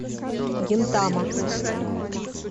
гинтама